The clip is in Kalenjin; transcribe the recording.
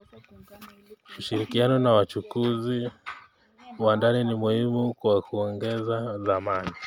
Ushirikiano na wachuuzi wa ndani ni muhimu kwa kuongeza thamani.